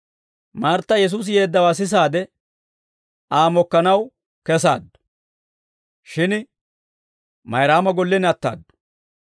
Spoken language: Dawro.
Martta Yesuusi yeeddawaa sisaadde, Aa mokkanaw kessaaddu; shin Mayraama gollen ataadu.